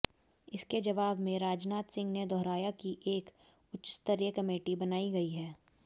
इसके जवाब में राजनाथ सिंह ने दोहराया कि एक उच्चस्तरीय कमेटी बनाई गई है